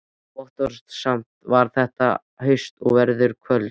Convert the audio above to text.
Votviðrasamt var þetta haust og veður köld.